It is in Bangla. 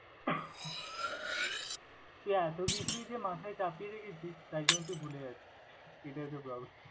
তুই এতো কিছুই যে, মাথায় চাপিয়ে রেখেছিস তার জন্য তুই ভুলে যাচ্ছিস। এটাই হয়তো problem ।